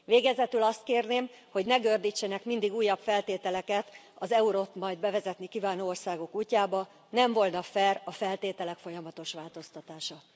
Végezetül azt kérném, hogy ne gördítsenek mindig újabb feltételeket az eurót majd bevezetni kívánó országok útjába, nem volna fair a feltételek folyamatos változtatása.